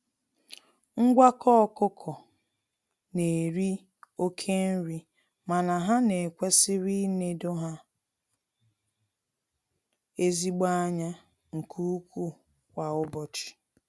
Ngwakọ ọkụkọ na-eri oke nri mana ha na ekwesiri ịnedo ha ezigbo anya nke ụkwụ kwa ụbọchị.